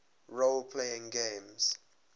role playing games